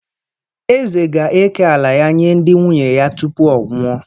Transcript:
Eze ga-eke ala ya yee ndị nwunye ya tupu ọ ọwụọ.